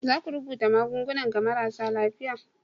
za ka rubuta magungunan ga marasa lafiya?